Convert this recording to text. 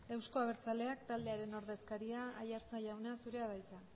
euzko abertzaleak taldearen ordezkaria aiartza jauna zurea da hitza